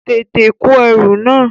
Tètè kó ẹrù náà!